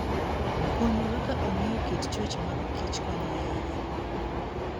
Puonjruok kaka ong'eyo kit chwech mag kichkonyo ahinya.